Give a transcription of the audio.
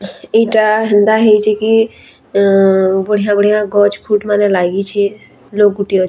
ଇଟା ହେନ୍ତା ହେଇଛେ କି ଅଁ ବଢିଆ ବଢିଆ ଗଛ୍‌ ଖୁଟ୍‌ ମାନେ ଲାଗିଛେ ଲୋକ୍‌ ଗୁଟେ ଅଛେ।